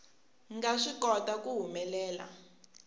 nga swi kota ku humelela